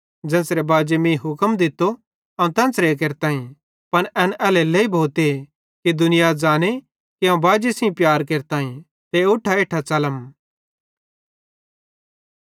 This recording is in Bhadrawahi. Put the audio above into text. ज़ेन्च़रे बाजीए मीं हुक्म दित्तो अवं तेन्च़रे केरताईं पन एन एल्हेरेलेइ भोते कि दुनिया ज़ांने कि अवं बाजी सेइं प्यार केरताईं ते उठा इट्ठां च़लम